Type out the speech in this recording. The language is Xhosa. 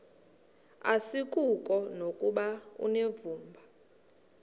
asikuko nokuba unevumba